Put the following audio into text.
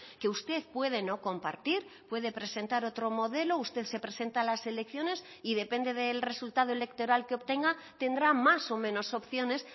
que usted puede no compartir puede presentar otro modelo usted se presenta a las elecciones y depende del resultado electoral que obtenga tendrá más o menos opciones